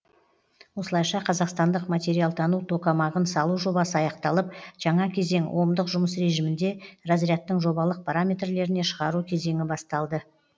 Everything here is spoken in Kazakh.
осылайша қазақстандық материалтану токамагын салу жобасы аяқталып жаңа кезең омдық жұмыс режимінде разрядтың жобалық параметрлеріне шығару кезеңі басталды